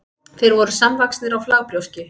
þeir voru samvaxnir á flagbrjóski